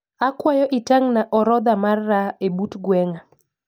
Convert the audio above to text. Akwayo itang'na orodha mar raha e but gweng'a